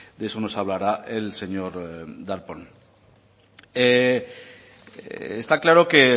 de eso nos hablará el señor darpón está claro que